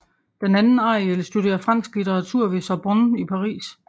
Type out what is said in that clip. Den anden Ariel studerer fransk litteratur ved Sorbonne i Paris